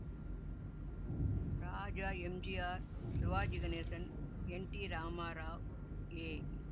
Raja MGR Sivaji Ganesan N T Ramarao A